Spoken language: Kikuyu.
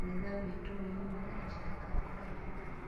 Kanitha witũ wĩiyũire acirika a kũraihu